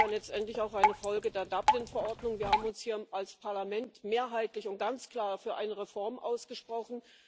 Und das ist ja letztendlich auch eine Folge der Dublin Verordnung wir haben uns hier als Parlament mehrheitlich und ganz klar für eine Reform ausgesprochen.